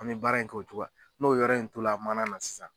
An be baara in k'o cogoya n'o yɔrɔ in tola mana na sisan